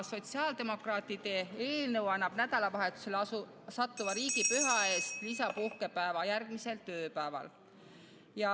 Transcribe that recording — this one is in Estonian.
Sotsiaaldemokraatide eelnõu annab nädalavahetusele sattuva riigipüha eest lisapuhkepäeva järgmisel tööpäeval.